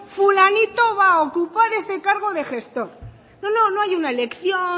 fulanito va a ocupar este cargo de gestor no no no hay una elección